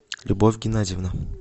любовь геннадьевна